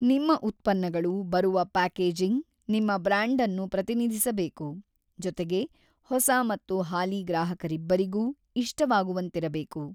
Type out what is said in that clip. ನಿಮ್ಮ ಉತ್ಪನ್ನಗಳು ಬರುವ ಪ್ಯಾಕೇಜಿಂಗ್ ನಿಮ್ಮ ಬ್ರಾಂಡ್ಅನ್ನು ಪ್ರತಿನಿಧಿಸಬೇಕು, ಜೊತೆಗೆ ಹೊಸ ಮತ್ತು ಹಾಲಿ ಗ್ರಾಹಕರಿಬ್ಬರಿಗೂ ಇಷ್ಟವಾಗುವಂತಿರಬೇಕು.